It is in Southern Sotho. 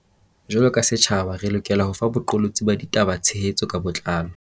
Jwaloka setjhaba, re lokela ho fa boqolotsi ba ditaba tshe hetso ka botlalo.